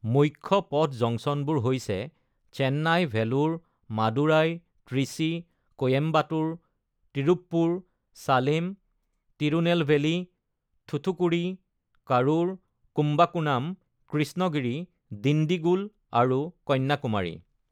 মুখ্য পথ জংচনবোৰ হৈছে চেন্নাই, ভেলোৰ, মাদুৰাই, ত্ৰিচি, কোয়েম্বাটুৰ, তিৰুপ্পুৰ, চালেম, তিৰুনেলভেলি, থুথুকুডি, কাৰুৰ, কুম্বাকোনাম, কৃষ্ণগিৰি, ডিণ্ডিগুল আৰু কন্যাকুমাৰী।